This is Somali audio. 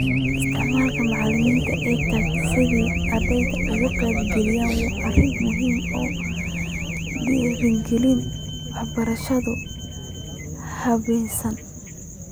Isticmaalka macallimiinta EdTech si ay ardayda uga qayb galiyaan waa arrin muhiim ah oo dhiirigelinaysa waxbarashada habaysan.